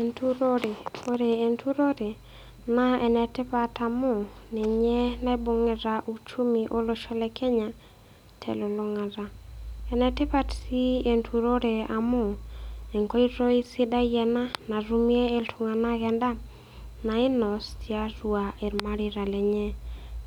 Enturore. Ore enturore naa enetipat amu ninye naibung'ita uchumi olosho le Kenya telulung'ata. Enetipat sii enturore amu enkoitoi sidai ena natumie iltung'anak endaa nainos tiatua ilmareita lenye.